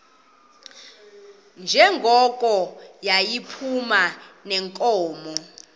njengoko yayiphuma neenkomo